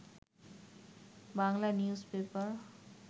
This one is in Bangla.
Bangla news paper